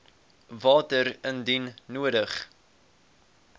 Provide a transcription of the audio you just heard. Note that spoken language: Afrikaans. water indien nodig